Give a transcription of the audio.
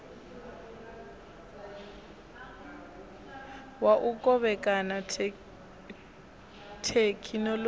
wa u kovhekana thekhinolodzhi u